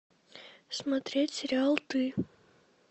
смотреть сериал ты